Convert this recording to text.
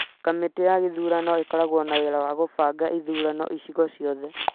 kamĩtĩ ya gĩthurano ĩkoragwo na wĩra wa kũbanga ithurano icigo ciothe